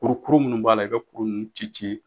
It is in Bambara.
Kurukuru minnu b'a i ka kuru ninnu ci ci